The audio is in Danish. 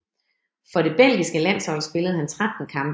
For det belgiske landshold spillede han 13 kampe